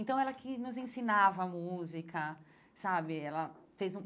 Então, ela que nos ensinava música, sabe? Ela fez um